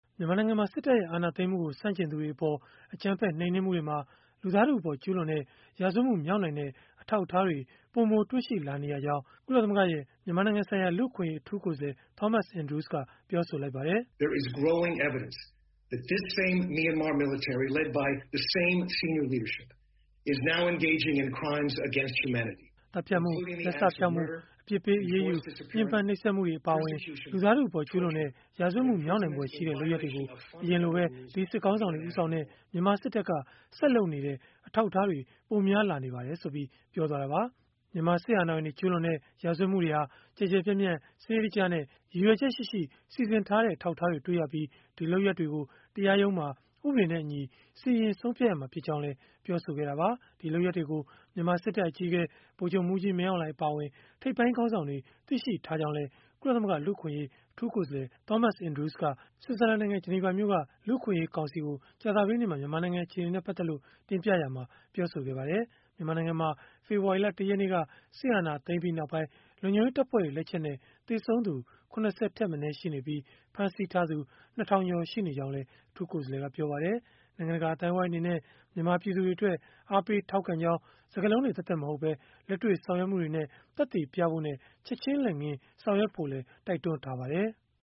မြန်မာနိုင်ငံမှာ စစ်တပ်ရဲ့ အာဏာသိမ်းမှုကို ဆန့်ကျင်သူတွေအပေါ် အကြမ်းဖက် နှိမ်နင်းမှုတွေမှာ လူသားထုအပေါ် ကျုးလွန်တဲ့ ရာဇဝတ်မှု မြောက်နိုင်တဲ့ အထောက်အထားတွေ ပိုမိုတွေ့ရှိလာနေရကြောင်း ကုလသမဂ္ဂရဲ့ မြန်မာနိုင်ငံဆိုင်ရာ လူ့အခွင့်အရေး အထူးကိုယ်စားလှယ် Thomas Andrews ကပြောလိုက်ပါတယ်။ “သတ်ဖြတ်မှု၊ လက်စဖျောက်မှု၊ အပြစ်ပေးအရေးယူ၊ ညှင်းပမ်းနှိပ်စက်မှုတွေ အပါအဝင် လူသားထုအပေါ် ကျုးလွန်တဲ့ ရာဇဝတ်မှု မြောက်နိုင်ဖွယ်ရှိတဲ့ လုပ်ရပ်တွေကို အရင်ကလိုပဲ ဒီစစ်ခေါင်းဆောင်တွေ ဦးဆောင်တဲ့ မြန်မာစစ်တပ်က ဆက်လုပ်နေတဲ့ အထောက်အထားတွေ ပိုများလာနေပါတယ်။” လို့ Thomas Andrews ကပြောဆိုသွားပါတယ်။ မြန်မာစစ်အာဏာပိုင်တွေ ကျုးလွန်တဲ့ ရာဇဝတ်မှုတွေဟာ ကျယ်ကျယ်ပြန့်ပြန့်၊ စနစ်တကျနဲ့ ရည်ရွယ်ချက်ရှိရှိ စီစဉ်ထားတဲ့ အထောက်အထားတွေ တွေ့ရပြီး ဒီလုပ်ရပ်တွေကို တရားရုံးမှာ ဥပဒေနဲ့အညီ စီရင်ဆုံးဖြတ်ရမှာ ဖြစ်ကြောင်းလည်း ပြောဆိုခဲ့တာပါ။ ဒီလုပ်ရပ်တွေကို မြန်မာစစ်တပ် အကြီးအကဲ ဗိုလ်ချုပ်မှူးကြီး မင်းအောင်လှိုင် အပါအဝင် ထိပ်ပိုင်းခေါင်းဆောင်တွေ သိရှိထားကြောင်းလည်း ကုလသမဂ္ဂ လူ့အခွင့်အရေး အထူးကိုယ်စားလှယ် Thomas Andrews က ဆွစ်ဇာလန်နိုင်ငံ ဂျနီဗာမြို့က လူ့အခွင့်အရေးကောင်စီကို ကြာသပတေးနေ့က မြန်မာနိုင်ငံ အခြေအနေနဲ့ ပတ်သက်လို့ တင်ပြရာမှာ ပြောဆိုခဲ့ပါတယ်။ မြန်မာနိုင်ငံမှာ ဖေဖော်ဝါရီလ ၁ ရက်နေ့က စစ်အာဏာသိမ်းပြီးနောက်ပိုင်း လုံခြုံရေးတပ်ဖွဲ့တွေ လက်ချက်နဲ့ သေဆုံးသူ ၇၀ ထက်မနည်း ရှိနေပြီး၊ ဖမ်းဆီးထားသူ ၂၀၀၀ ကျော် ရှိနေကြောင်းလည်း အထူးကိုယ်စားလှယ်က ပြောပါတယ်။ နိုင်ငံတကာ အသိုင်းအဝန်း အနေနဲ့ မြန်မာပြည်သူတွေအတွက် အားပေးထောက်ခံကြောင်း စကားလုံးတွေ သက်သက် မဟုတ်ပဲ လက်တွေ့ ဆောင်ရွက်မှုတွေနဲ့ သက်သေပြဖို့နဲ့ ချက်ခြင်းလက်ငင်း ဆောင်ရွက်ဖို့လည်း တိုက်တွန်းထားပါတယ်။